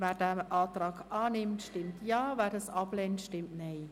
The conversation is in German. Wer den Antrag annimmt, stimmt Ja, wer diesen ablehnt, stimmt Nein.